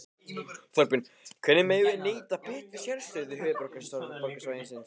Þorbjörn: Hvernig megum við nýta betur sérstöðu höfuðborgarsvæðisins?